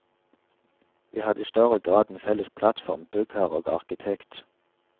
Vi hadde i større grad en felles plattform, byggherre og arkitekt.